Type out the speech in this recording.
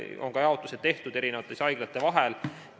On ka jaotus tehtud haiglate vahel.